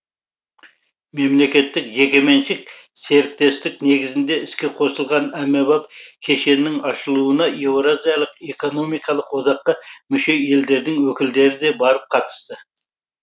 мемлекеттік жекеменшік серіктестік негізінде іске қосылған әмбебап кешеннің ашылуына еуразиялық экономикалық одаққа мүше елдердің өкілдері де барып қатысты